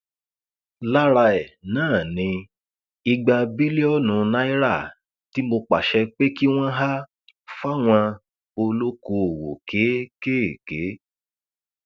lára ẹ náà ni igba bílíọnù náírà tí mo pàṣẹ pé kí wọn há fáwọn olókoòwò kéékèèké